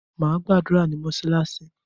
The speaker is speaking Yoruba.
Màá gbàdúrà ní mosalasi